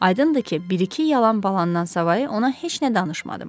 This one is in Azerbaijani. Aydındır ki, bir-iki yalan baladan savayı ona heç nə danışmadım.